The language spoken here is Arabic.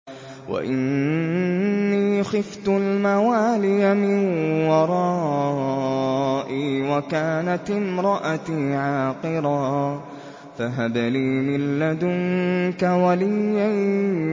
وَإِنِّي خِفْتُ الْمَوَالِيَ مِن وَرَائِي وَكَانَتِ امْرَأَتِي عَاقِرًا فَهَبْ لِي مِن لَّدُنكَ وَلِيًّا